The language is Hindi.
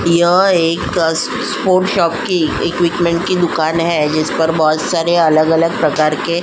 यह एक स स्पोर्ट शॉप की इक्विपमेंट की दुकान है जिस पर बहुत सारे अलग-अलग प्रकार के --